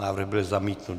Návrh byl zamítnut.